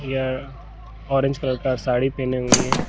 यह orange colour का साड़ी पहने हुई है।